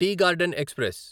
tea garden express